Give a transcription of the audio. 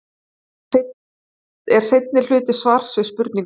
þetta er seinni hluti svars við spurningunni